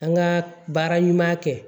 An ka baara ɲuman kɛ